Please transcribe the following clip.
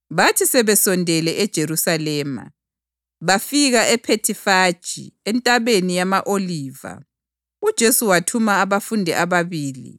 Bathi sebesondela eJerusalema, bafika eBhethifage eNtabeni yama-Oliva, uJesu wathuma abafundi ababili,